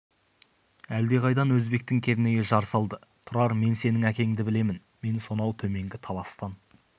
әлдеқайдан өзбектің кернейі жар салды тұрар мен сенің әкеңді білемін мен сонау төменгі таластан